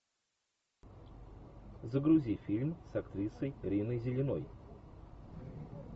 загрузи фильм с актрисой риной зеленой